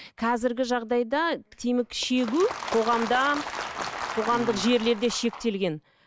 қазіргі жағдайда темекі шегу қоғамда қоғамдық жерлерде шектелген